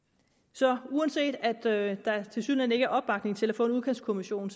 så uanset at der tilsyneladende ikke er opbakning til at få en udkantskommission